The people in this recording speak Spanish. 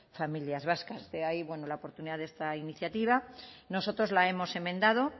familias vascas de ahí bueno la oportunidad de esta iniciativa nosotros la hemos enmendado